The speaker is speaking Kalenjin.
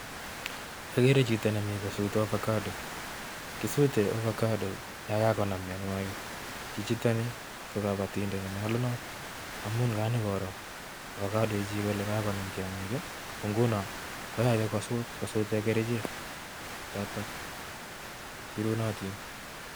agere chito nemii kosutee ovacdoo, kisutee ovacado ya kokonam myanwagik, chichitoni ko kabatindet nee nyalunat amuu kanyo koraa ovacado chechii kole kakonam tyongik ko ngunoo kokagonyoo kosute e gerichek chotok cherunatin